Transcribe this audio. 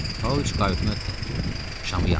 Pauloviç kayutuna tək girdi, şamı yandırdı.